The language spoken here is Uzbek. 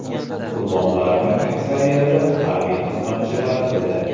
Qurbonlarning aksariyati harbiy xizmatchilar edi.